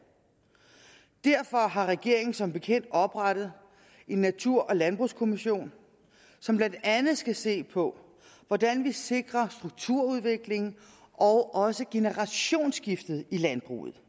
derfor har regeringen som bekendt oprettet en natur og landbrugskommission som blandt andet skal se på hvordan vi sikrer strukturudviklingen og også generationsskiftet i landbruget